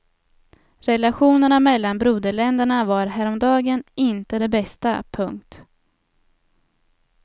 Relationerna mellan broderländerna var häromdagen inte de bästa. punkt